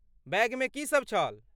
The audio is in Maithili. बैगमे की सभ छल?